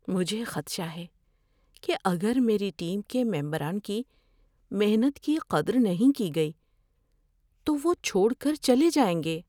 مجھے خدشہ ہے کہ اگر میری ٹیم کے ممران کی محنت کی قدر نہیں کی گئی تو وہ چھوڑ کر چلے جائیں گے۔